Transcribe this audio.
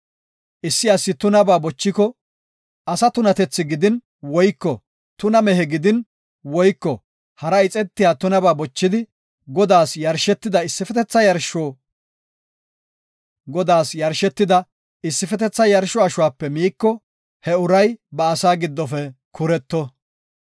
Issi asi tunaba bochiko, asa tunatethi gidin woyko tuna mehe gidin woyko hara ixetiya tunaba bochidi, Godaas yarshetida issifetetha yarsho ashuwape miiko, he uray ba asaa giddofe kureto.